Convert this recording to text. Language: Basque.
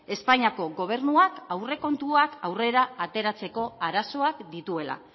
espainiako gobernuak aurrekontuak aurrera ateratzeko arazoak dituela